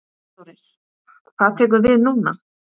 Þórir: Hvað tekur við núna?